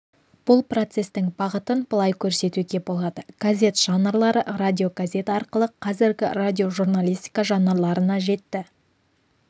бұл процестің бағытын былай көрсетуге болады газет жанрлары радиогазет арқылы қазіргі радиожурналистика жанрларына жетті